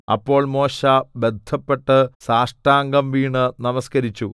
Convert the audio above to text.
അപ്പോൾ മോശെ ബദ്ധപ്പെട്ട് സാഷ്ടാംഗം വീണ് നമസ്കരിച്ചു